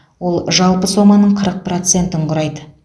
ол жалпы соманың қырық процентін құрайды